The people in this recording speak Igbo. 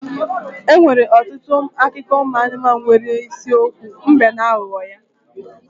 Enwere ọtụtụ akụkọ ụmụ anụmanụ nwere isiokwu mbe na aghụghọ ya.